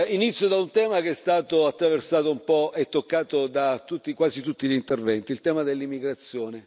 Inizio da un tema che è stato attraversato un po' e toccato da quasi tutti gli interventi il tema dell'immigrazione.